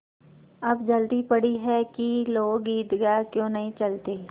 अब जल्दी पड़ी है कि लोग ईदगाह क्यों नहीं चलते